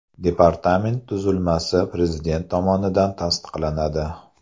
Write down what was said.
Departament tuzilmasi Prezident tomonidan tasdiqlanadi.